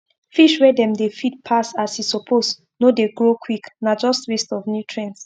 fish wey dem feed pass as e suppose no dey grow quick na just waste of nutrients